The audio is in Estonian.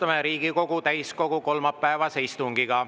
Alustame Riigikogu täiskogu kolmapäevast istungit.